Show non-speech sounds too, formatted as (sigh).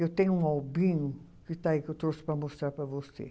Eu tenho um (unintelligible) que está aí que eu trouxe para mostrar para você.